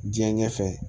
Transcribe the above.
Diɲɛ ɲɛfɛ